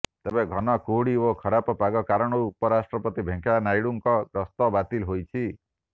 ତେବେ ଘନ କୁହୁଡ଼ି ଓ ଖରାପ ପାଗ କାରଣରୁ ଉପରାଷ୍ଟ୍ରପତି ଭେଙ୍କେୟା ନାଇଡ଼ୁଙ୍କ ଗସ୍ତ ବାତିଲ ହୋଇଛି